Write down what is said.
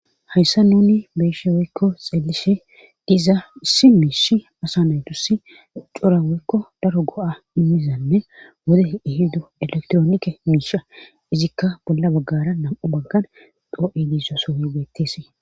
hayssa nuni beyishe woykko xeelishe diza si miish asa naydussi cora woykko daro go7a immizanne wode ihiddu elektroonike miisha izikka bolla baggara nam7u baggan doo7ediso sohoy beettes